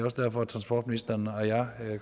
også derfor at transportministeren og jeg i